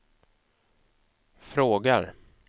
frågar